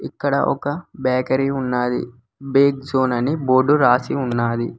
ఇక్కడ ఒక బ్యాకరీ ఉన్నది బి జోన్ అని బోర్డు రాసి ఉన్నది.